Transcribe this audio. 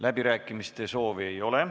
Läbirääkimiste soovi ei ole.